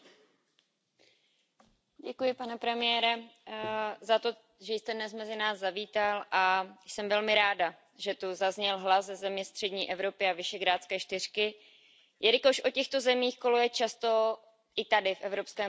Pane premiére, děkuji za to, že jste dnes mezi nás zavítal a jsem velmi ráda, že tu zazněl hlas ze země střední Evropy a Visegrádské čtyřky, jelikož o těchto zemích kolují často, i tady v Evropském parlamentu, velmi mylné představy.